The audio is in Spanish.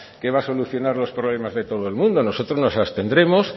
que va a solucionar los problemas de todo el mundo nosotros nos abstendremos